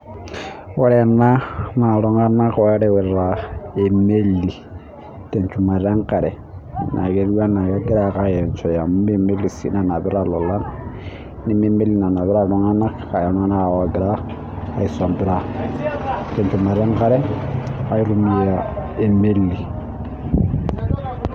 ore ena naa iltung'anak oo reuta emeli tenchumata enkare etiu enaa, kegira ake aa enchoe ijio emeli sii nanapita ilolan tenchumata enkare aitumiya emeli.